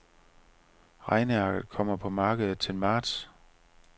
Regnearket kommer på markedet til marts.